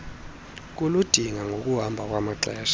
kuludinga ngokuhamba kwamaxesha